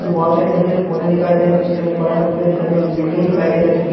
बहुत सारे छोटे छोटे पौधे दिखाई दे रहे हैं पीछे में एक बड़ा सा पेर दिखाई दे रहा बिल्डिंग दिखाई दे रहा जोकि --